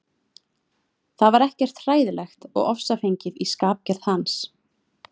Það var ekkert hræðilegt og ofsafengið í skapgerð hans.